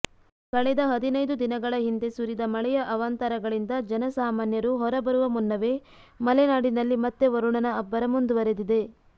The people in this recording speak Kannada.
ಕಳೆದ ಹದಿನೈದು ದಿನಗಳ ಹಿಂದೆ ಸುರಿದ ಮಳೆಯ ಅವಾಂತರಗಳಿಂದ ಜನಸಾಮಾನ್ಯರು ಹೊರಬರುವ ಮುನ್ನವೇ ಮಲೆನಾಡಿನಲ್ಲಿ ಮತ್ತೆ ವರುಣನ ಅಬ್ಬರ ಮುಂದುವರೆದಿದೆ